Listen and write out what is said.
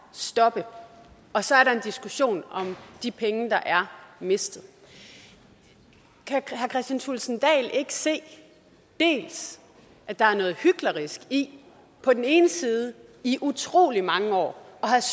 stoppe og så er der en diskussion om de penge der er mistet kan herre kristian thulesen dahl ikke se at der er noget hyklerisk i på den ene side i utrolig mange år